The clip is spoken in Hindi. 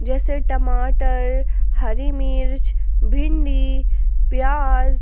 जैसे टमाटर हरि मिर्च भिंडी प्याज --